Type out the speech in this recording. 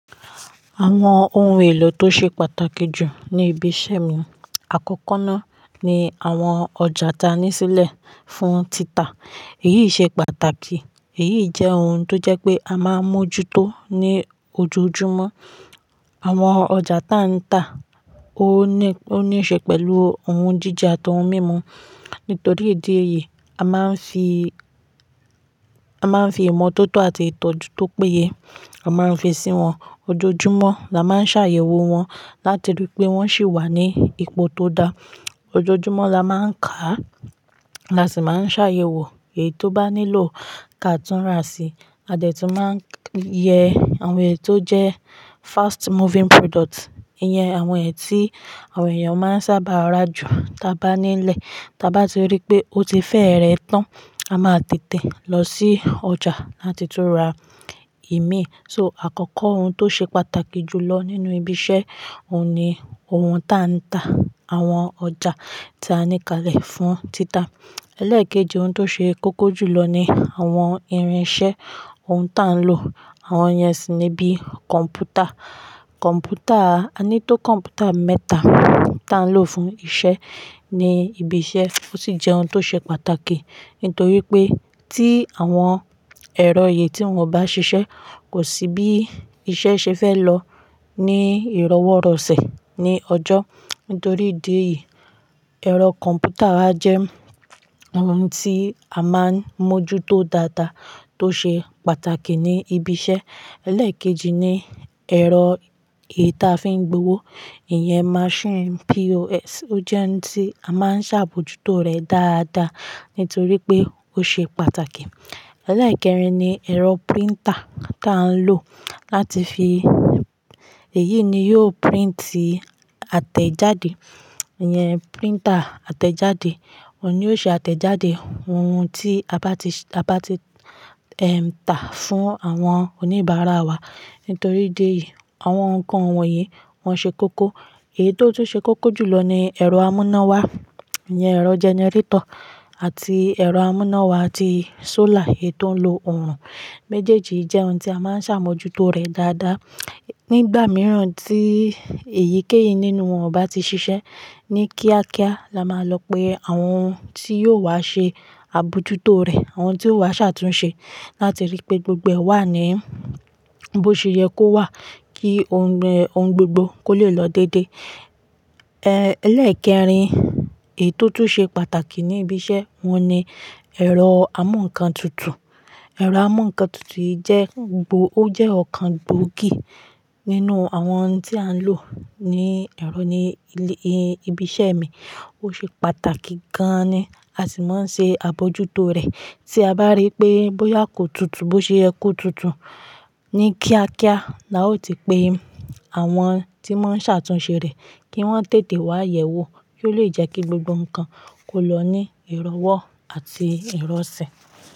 Àwọn ohun èlò tó ṣe pàtàkì jù ní ibi iṣẹ́ mi, àkọ́kọ́ náà ni àwọn ọjà ta nísílẹ̀ fún títà. Èyí ṣe pàtàkì, èyí jẹ́ ohun tó jẹ́ pé a máa ń mójútó ní ojoojúmọ́. Àwọn ọjà ta ń ta, ó ní, ó ní í ṣe pẹ̀lú ohun jíje àti ohun mímu. Nítorí ìdí èyí, a máa ń fi, a máa ń fi ìmọ̀ tó tó àti ìtọ́jú tó péye, a máa ń fi sí wọn. Ojoojúmọ́ la máa ń ṣàyẹ̀wò wọn, láti rí pé wọ́n sì wà ní ipò tó da. Ojoojúmọ́ la máa ń kà á, la sì máa ń ṣàyẹ̀wò èyí tó bá nílò ká tún rà sí. A dẹ̀ tún máa ń yẹ àwọn èyí tó jẹ́ fast moving product, ìyẹn àwọn èyí tí àwọn èèyàn máa ń sábà ra jù. Taa bá nílẹ̀, ta bá ti rí pé ó ti fẹ́ rẹ̀ tán, a máa tètè lọ sí ọjà láti tún ra ìmí. So àkọ́kọ́ ohun tó ṣe pàtàkì jù lọ nínú ibi iṣẹ́, òun ni ohun ta ń ta àwọn ọjà ta ni kalẹ̀ fún títà. Ẹlẹ́ẹ̀kejì ohun tó ṣe kókó jùlọ ni àwọn irinṣẹ́ ohun ta ń lò. Àwọn ìyẹn sì ni bí kọ̀m̀pútà. Kọ̀m̀pútà, a ní tó kọ̀m̀pútà mẹ́ta ta ń lò fún iṣẹ́ ní ibi iṣẹ́. Ó sì jẹ́ ohun tó ṣe pàtàkì, nítorí pé tí àwọn ẹ̀rọ èyí tí wọ́n ò bá ṣiṣẹ́, kò sí bí iṣẹ́ ṣe fẹ́ lọ ní ìrọwọ́-rọ̀sẹ̀ ní ọjọ́. Nítorí ìdí èyí, ẹ̀rọ kọ̀m̀pútà jẹ́ ohun tí a máa ń mójútó dáadáa tó ṣe pàtàkì ní ibi iṣẹ́. Ẹlẹ́ẹ̀kejì ni ẹ̀rọ èyí ta fi ń gbé owó, ìyẹn machine POS. Ó jẹ́ ohun tí a máa ń ṣàbojútó rẹ̀ dáadáa, nítorí pé ó ṣe pàtàkì. Ẹlẹ́ẹ̀kẹrin ni ẹ̀rọ printer ta ń lò láti fi, èyí ni yóò printi àtẹ̀jáde. Ìyẹn printer àtẹ̀jáde, òun ni ó ṣe àtẹ̀jáde ohun tí a bá ti, a bá ti, ẹm, tà fún àwọn oníbàárà wa. Nítorí ìdí èyí, àwọn nǹkan wọ̀nyí wọ́n ṣe kókó. Èyí tó tún ṣe kókó jùlọ ni ẹ̀rọ amúnáwá, ìyẹn ẹ̀rọ gẹnẹrétọ̀ àti ẹ̀rọ amúnáwá ti solar èyí tó ń lo oòrùn méjèèjì jẹ́ ohun tí a máa ń ṣàbojútó rẹ̀ dáadáa. Nígbà mìíràn tí èyí kéyì nínú wọn ò bá ti ṣiṣẹ́ ní kíákíá la máa lọ pe àwọn tí yóò wá ṣe àbojútó rẹ̀, àwọn tí ó wá ṣàtúnṣe láti rí pé gbogbo ẹ wà ní bó ṣe yẹ kó wà, kí ohun, ohun gbogbo kó lè lọ dédé. Ẹlẹ́ẹ̀kẹrin èyí tó tún ṣe pàtàkì ní ibi iṣẹ́ ohun ni ẹ̀rọ amúǹkan tutù. Ẹ̀rọ amúǹkan tutù yi jẹ́ gbòó, ó jẹ́ ọ̀kan gbòógì nínú àwọn tí à ń lò ní ẹ̀rọ ní ilé, ibi iṣẹ́ mi. Ó ṣe pàtàkì gan-an ni, a sì máa ń ṣe àbojútó rẹ̀. Tí a bá rí pé bóyá kò tutù, bó ṣe ẹ kú tutù ní kíákíá la ó ti pe àwọn tí wọ́n ń ṣàtúnṣe rẹ̀ kí wọ́n tètè wá yẹ̀wò. Ó lè jẹ́ kí gbogbo nǹkan kó lọ ní ìrọwọ́ àti ìrọ̀sẹ̀.